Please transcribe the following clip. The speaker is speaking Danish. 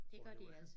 Det gør de altså